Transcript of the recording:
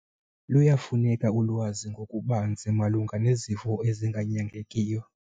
Luyafuneka ulwazi ngokubanzi malunga nezifo ezinganyangekiyo.